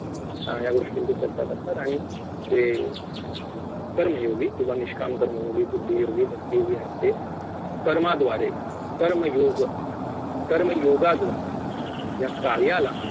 या गोष्टींची चर्चा करतात आणि जे कर्मयोगी किंवा निष्काम कर्मयोगी बुद्धियोगी भक्तियोगी आहेत ते कर्माद्वारे कर्मयोग कर्मयोगाद्वारे या कार्याला